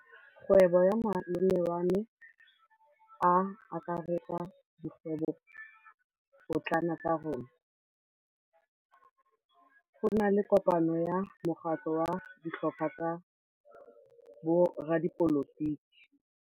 Kgwêbô ya malome wa me e akaretsa dikgwêbôpotlana tsa rona. Go na le kopanô ya mokgatlhô wa ditlhopha tsa boradipolotiki.